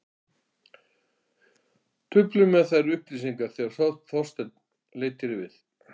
Trufluðu mig þær upplýsingar þegar Þorsteinn leit hér við.